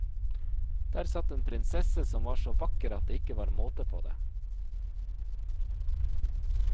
Der satt en prinsesse som var så vakker at det ikke var måte på det.